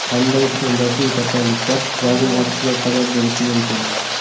Qanday endokrin kasalliklar vazn ortishiga sabab bo‘lishi mumkin?